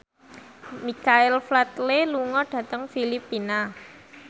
Michael Flatley lunga dhateng Filipina